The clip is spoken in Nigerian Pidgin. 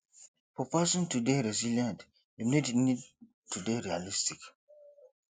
for person to dey resilient im need need to dey realistic